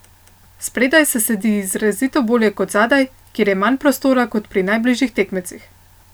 Spredaj se sedi izrazito bolje kot zadaj, kjer je manj prostora kot pri najbližjih tekmecih.